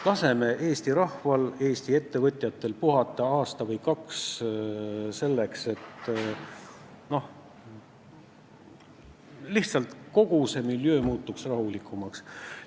Laseme Eesti rahval, Eesti ettevõtjatel aasta või kaks puhata, selleks et kogu see miljöö lihtsalt rahulikumaks muutuks.